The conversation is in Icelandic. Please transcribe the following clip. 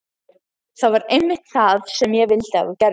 Það var einmitt það sem ég vildi að þú gerðir.